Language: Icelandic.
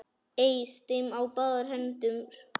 Eys þeim á báðar hendur!